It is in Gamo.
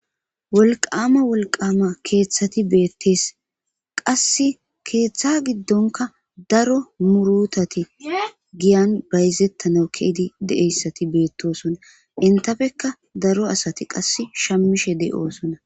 Wolqama wolqama keeththati beettes. Qassi keeththa giddonkka daro muurutati bayzetanaw giya giddon ke'idi de'iyayssati beettosona. Entappekka daro asati qasse shammishe de'osona.